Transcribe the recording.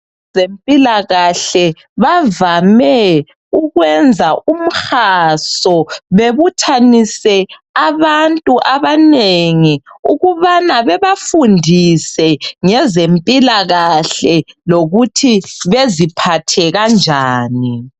Abezempilakahle bavame ukwenza umhaso bebuthanise abantu abanengi ukubana bebafundise ngezempilakahle lokuthi beziphathe kanjani.